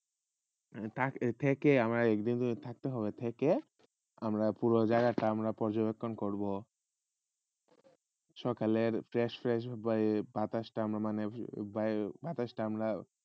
টাক গেলে একদিন থাকতে হবে থাককে আমরা পুরো জএগাটা কর সকলে dress